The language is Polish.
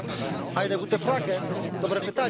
dobre pytanie, Panie Pośle.